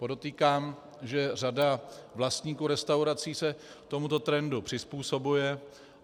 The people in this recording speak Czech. Podotýkám, že řada vlastníků restaurací se tomuto trendu přizpůsobuje.